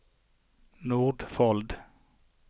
Nordfold